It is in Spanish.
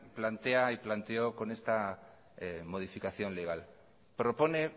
plantea y planteó con esta modificación legal propone